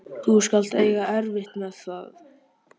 Þú skalt eiga erfitt með það.